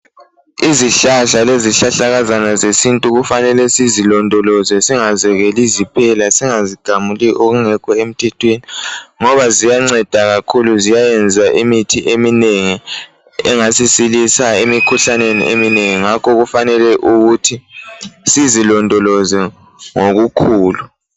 Izihlahla lezihlahlakazana zesintu kufanele silondoloze singaziyekeli ziphela singazi gamuli okungekho emthethweni ngoba ziyanceda kakhulu ziyayenza imithi eminengi engasisilisa emikhuhlaneni eminingi ngakho kufanele ukuthi silondoloze ngokukhulu